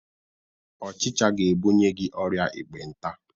Ọchịcha ga-ebunye gi ọrịa ekpenta